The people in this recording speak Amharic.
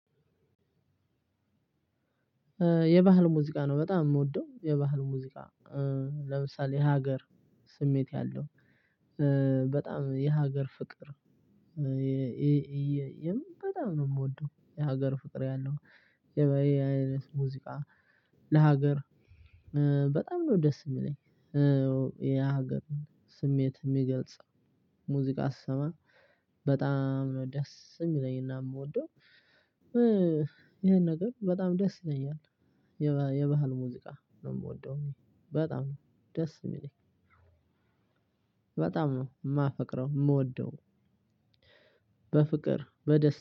የባህል ሙዚቃ ነው በጣም የምወደው የባህል ሙዚቃ ለምሳሌ ሀገር ስሜት ያለው በጣም የሀገር ፍቅር። የምን በጣም ነው የምወደው የሀገር ፍቅር ያለው። የበይ አይነት ሙዚቃ። ለሀገር በጣም ነው ደስ የሚለኝ። የሀገር ስሜት የሚገልጽ ሙዚቃ ስሰማ በጣም ነው ደስ የሚለኝና የምወደው። ይሄን ነገር በጣም ደስ ይለኛል። የባህል ሙዚቃ ነው የምወደው በጣም ደስ የሚለኝ። በጣም ነው የማፈቅረው የምወደው በፍቅር በደስታ